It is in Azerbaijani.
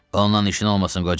Ondan işin olmasın qoca.